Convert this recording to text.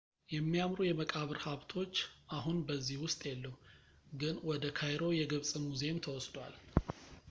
የሚያምሩ የመቃብር ሀብቶች አሁን በዚህ ውስጥ የሉም ግን ወደ ካይሮ የግብፅ ሙዚየም ተወስዷል